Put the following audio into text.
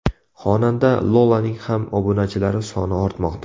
Xonanda Lolaning ham obunachilari soni ortmoqda.